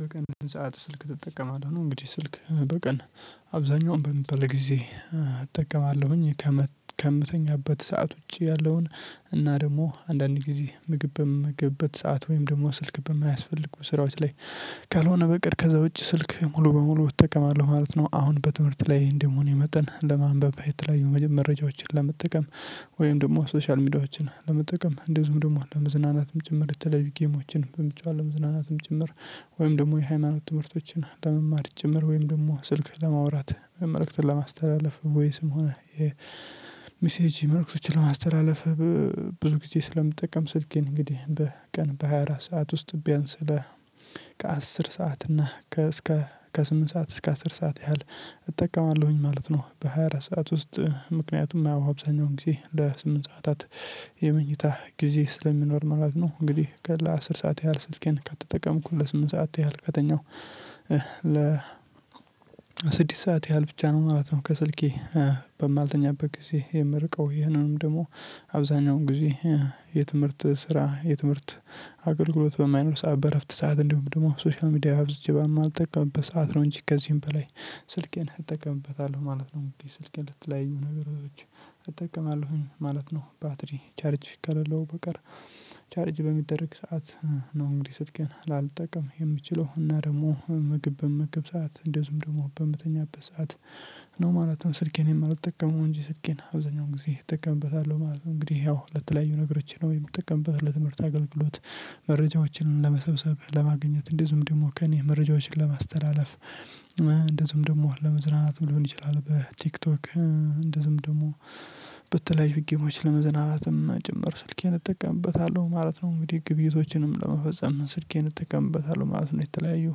በቀን ስንት ሰዓት ስልክ ትጠቀማለህ? ነው እንግዲህ ስልክ በቀን አብዛኛው በሚባል ጊዜ እጠቀማለሁኝ ከምተኛበት ሰዓት ውጪ ያለውን እና ደግሞ አንዳንድ ጊዜ ምግብ በምመግብበት ሰዓት ወይም ደግሞ ስልክ በማያስፈልጉ ስራዎች ላይ ካልሆነ በቀር ከዛ ውጪ ስልክ ሙሉ በሙሉ እጠቀማለሁ ማለት ነው። አሁን በትምህርት ላይ እንደሆነ መጠን ለማንበብ የተለያዩ መረጃዎችን ለመጠቀም ወይም ደግሞ ሶሻል ሚዲያዎችን ለመጠቀም እንደዚሁም ደግሞ አንድ ለመዝናናትም ጭምር የተለዩ ጌሞችንም በመጫወት ለመዝናናትም ጭምር ወይም ደግሞ የሃይማኖት ትምህርቶችን ለመማር ጭምር ወይም ደግሞ ስልክ ለማውራት መልዕክተን ለማስተላለፍ ቮይስም ሆነ የሚሴጂ መልእክቶችን ለማስተላለፍ። ብዙ ጊዜ ስለምጠቀም ስልኬን እንግዲህ በቀን በሃያ አራት ሰዓት ውስጥ ቢያንስ ለህ ከአስር ሰዓት እና ከ እስከ ከስምንት ሰዓት እስከ አስር ሰዓት ያህል እጠቀማለሁኝ ማለት ነው። በሃያ አራት ሰዓት ውስጥ ምክንያቱም ያው አብዛኛውን ጊዜ ለስምንት ሰዓታት የመኝታ ጊዜ ስለሚኖር ማለት ነው። እንግዲህ ቀን አስር ሰዓት ያህል ስልኬን ከተጠቀምኩት ለስምንት ሰዓት ያህል ከተኛሁ ለ ስድስት ሰዓት ያህል ብቻ ነው ማለት ነው። ከስልኬ በማልተኛበት ጊዜ የምርቀው ይህንንም ደግሞ አብዛኛውን ጊዜ የትምህርት ስራ የትምህርት አገልግሎት በማይኖር ሰዓት በእረፍት ሰዓት እንዲሁም ደግሞ ሶሻል ሚዲያ አብዝቼ በማልጠቀምበት ሰዓት ነው እንጂ ከዚህም በላይ ስልኬን እጠቀምበታለሁ ማለት ነው። እንግዲህ ስልኬ ለተለያዩ ነገሮች እጠቀማለሁኝ ማለት ነው። ባትሪ ቻርጅ ከሌለው በቀር ቻርጅ በሚደረግ ሰዓት ነው እንግዲህ ስልኬን ላልጠቀም የምችለው እና ደግሞ ምግብ በምመገብ ሰዓት እንደሁም ደግሞ በምትተኛበት ሰዓት ነው ማለት ነው። ስልኬን የማልጠቀመው እንጂ ስልኬን አብዛኛው ጊዜ እጠቀምበታለሁ ማለት ነው። እንግዲህ ያው ለተለያዩ ነገሮች ነው የምትጠቀምበት ለትምህርት አገልግሎት መረጃዎችንን ለመሰብሰብ ለማግኘት እንደዚሁም ደግሞ ከእኔ መረጃዎችን ለማስተላለፍ። እንደዚሁም ደግሞ ለመዝናናት ሊሆን ይችላል በቲክቶክ እንደዚህም ደግሞ በተለያዩ ጌሞች ለመዝናናትም ጭምር ስልኬን እጠቀምበታለሁ ማለት ነው። እንግዲህ ግብይቶችንም ለመፈጸም ስልኬን እጠቀምበታለሁ ማለት ነው። የተለያየው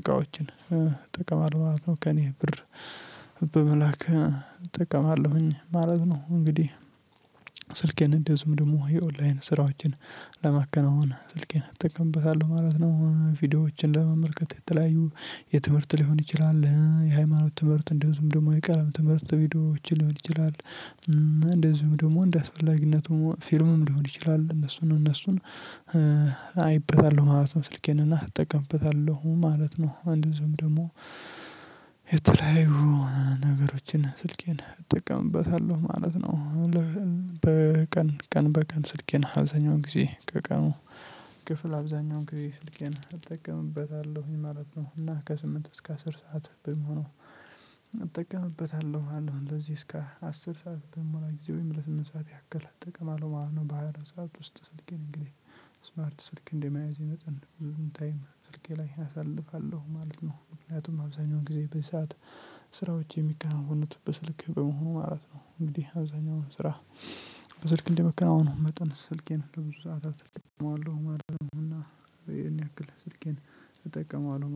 እቃዎችን እጠቀማለሁ ማለት ነው። ከእኔ ብር በመላክ እጠቀማለሁኝ ማለት ነው። እንግዲህ ስልኬን እንደዚሁም ደግሞ የኦንላይን ስራዎችን ለማከናወን ስልኬን እጠቀምበታለሁ ማለት ነው። ቪዲዮዎችን ለመመልከት የተለያዩ የትምህርት ሊሆን ይችላል የሃይማኖት ትምህርት እንደውም ደግሞ የቀለም ትምህርት ቪዲዮዎችን ሊሆን ይችላል እና እንደዚሁም ደግሞ እንደ አስፈላጊነቱ ፊልምም ሊሆን ይችላል እነሱን እነሱን አይበታለሁ ማለት ነው። ስልኬን እና እጠቀምበታለሁ ማለት ነው። አንድዚሁም ደግሞ የተለያዩ ነገሮችን ስልኬን እጠቀምበታለሁ ማለት ነው። በቀን ቀን በቀን ስልኬን አብዛኛው ጊዜ ከቀኑ ክፍል አብዛኛው ጊዜ ስልኬን እጠቀምበታለሁኝ ማለት ነው እና ከስምንት እስከ አስር ሰዓት በሚሆነው ነው። እጠቀምበታለሁ አለው እንደዚህ እስከ አስር ሰዓት በሚሞላ ጊዜ ወይም ለስምንት ሰዓት ያክል እጠቅምአለው ማለት ነው። በሃያ አራት ሰዓት ውስጥ ስልኬን እንግዲህ ስማርት ስልክ እንደመያዜ መጠን ብዙ ታይም ስልኬ ላይ አሳልፋለሁ ማለት ነው። ምክንያቱም አብዛኛውን ጊዜ በዚህ ሰዓት ስራዎች የሚከናወኑት በ ስልክ በመሆኑ ማለት ነው። እንግዲህ አብዛኛው ስራ በስልክ እንደመከናወኑ መጠን ስልኬን ለብዙ ሰዓታት እጠቀመዋለሁ ማለት ነው። እና እኔ ያክል ስልኬን እጠቀመዋለሁ